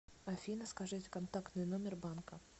афина скажите контактный номер банка